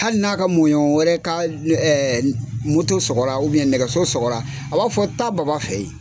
Hali n'a ka mɔɔɲɔn wɛrɛ ka nɛgɛso sɔgɔra, a b'a fɔ taa baba fɛ yen.